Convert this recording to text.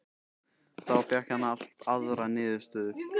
Þá fékk hann allt aðrar niðurstöður.